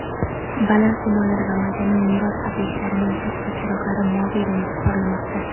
baland binolari va madaniy meros obyektlarining tashqi chiroqlari moviy rangda porlamoqda.